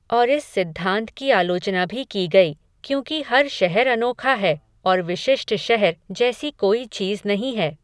और इस सिद्धांत की आलोचना भी की गई क्योंकि हर शहर अनोखा है और विशिष्ट शहर जैसी कोई चीज नहीं है।